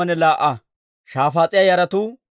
Araaha yaratuu 775.